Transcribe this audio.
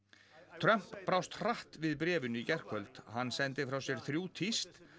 Trump brást hratt við bréfinu í gærkvöld hann sendi frá sér þrjú tíst